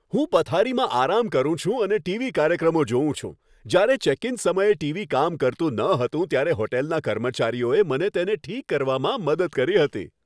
હું પથારીમાં આરામ કરું છું અને ટીવી કાર્યક્રમો જોઉં છું. જ્યારે ચેક ઇન સમયે ટીવી કામ કરતું ન હતું ત્યારે હોટલના કર્મચારીઓએ મને તેને ઠીક કરવામાં મદદ કરી હતી.